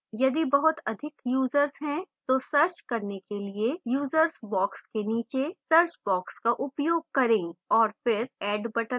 यदि बहुत अधिक यूजर्स हैं तो search करने के लिए users box के नीचे search box का उपयोग करें और फिर add box पर क्लिक करें